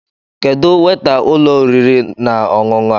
Kedụ weta ụlọ oriri na ọṅụṅụ a?